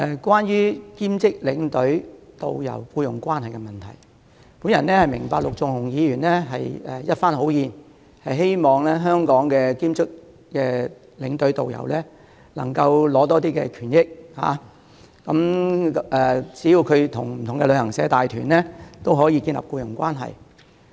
關於兼職領隊及導遊的僱傭問題，我明白陸頌雄議員是一番好意，希望為香港的兼職領隊及導遊爭取權益，好讓他們即使是為不同的旅行社帶團，也可建立僱傭關係。